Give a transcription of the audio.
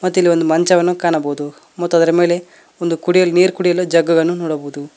ಮತ್ತಿಲ್ಲಿ ಒಂದು ಮಂಚವನ್ನು ಕಾಣಬಹುದು ಮತ್ತು ಅದರ ಮೇಲೆ ಒಂದು ಕುಡಿಯಲು ನೀರು ಕುಡಿಯಲು ಜಗ್ಗನ್ನು ನೋಡಬಹುದು.